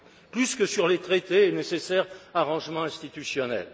plus que sur les traités, nécessaires arrangements institutionnels.